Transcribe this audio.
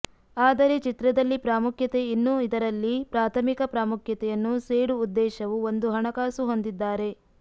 ಆದರೆ ಚಿತ್ರದಲ್ಲಿ ಪ್ರಾಮುಖ್ಯತೆ ಇನ್ನೂ ಇದರಲ್ಲಿ ಪ್ರಾಥಮಿಕ ಪ್ರಾಮುಖ್ಯತೆಯನ್ನು ಸೇಡು ಉದ್ದೇಶವು ಒಂದು ಹಣಕಾಸು ಹೊಂದಿದ್ದಾರೆ